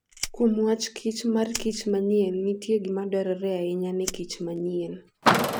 Kuom wach kich mar kich manyien, nitie gima dwarore ahinya ne kich manyien.